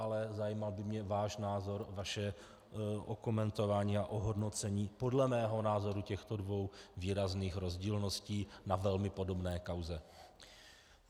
Ale zajímal by mě váš názor, vaše okomentování a ohodnocení podle mého názoru těchto dvou výrazných rozdílností na velmi podobné kauze.